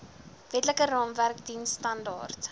wetlike raamwerk diensstandaard